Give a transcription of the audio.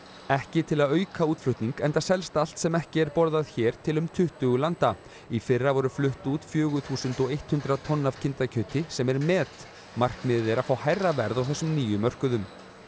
ekki til að auka útflutning enda selst allt sem ekki er borðað hér til um tuttugu landa í fyrra voru flutt út fjögur þúsund hundrað tonn af kindakjöti sem er met markmiðið er að fá hærra verð á þessum nýju mörkuðum